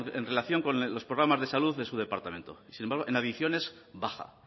en relación con los programas de salud de su departamento sin embargo en adicciones baja